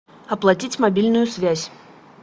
оплатить мобильную связь